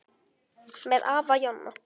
Með afa Jonna.